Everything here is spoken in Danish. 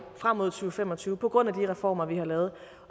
frem mod to tusind og fem og tyve på grund af de reformer vi har lavet